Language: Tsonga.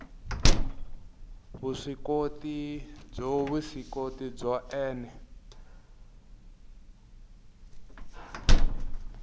vuswikoti byo vuswikoti byo ene